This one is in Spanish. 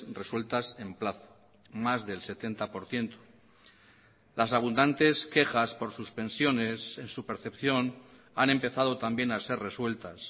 resueltas en plazo más del setenta por ciento las abundantes quejas por suspensiones en su percepción han empezado también a ser resueltas